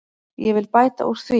Ég vil bæta úr því.